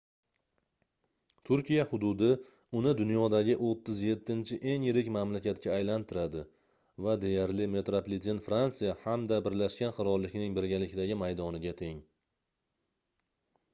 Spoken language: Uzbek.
turkiya hududi uni dunyodagi 37-eng yirik mamlakatga aylantiradi va deyarli metropliten fransiya hamda birlashgan qirollikning birgalikdagi maydoniga teng